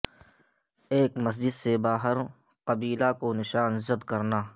ایک مسجد سے باہر قبیلہ کو نشان زد کرنا